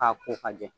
K'a ko ka jɛ